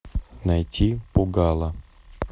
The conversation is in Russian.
найти пугало